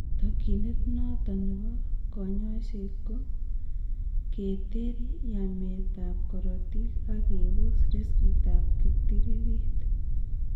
Tokyinet noton nebo kanyoiseet ko:keter yameet ab korotik ak kebos riskit ab kiptiririt